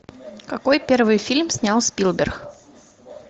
какой первый фильм снял спилберг